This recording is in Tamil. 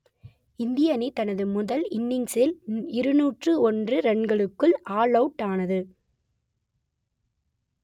இந்திய அணி தனது முதல் இன்னிங்ஸில் இருநூற்று ஒன்று ரன்களுக்குள் ஆல் அவுட் ஆனது